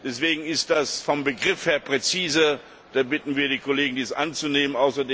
Deswegen ist das vom Begriff her präziser, und wir bitten die Kollegen, dies anzunehmen.